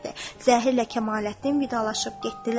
Zəhirlə Kamaləddin vidalaşıb getdilər.